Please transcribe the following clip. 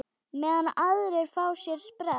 Meðan aðrir fá sér sprett?